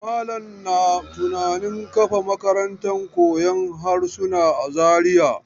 Malam na tunanin kafa makarantar koyon harsuna a Zariya.